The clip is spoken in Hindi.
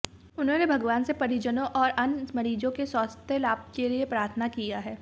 उन्होंने भगवान से परिजनों और अन्य मरीजों के स्वास्थ्य लाभ के लिए प्रार्थना किया है